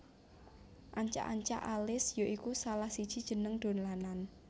Ancak ancak Alis ya iku salah siji jeneng dolanan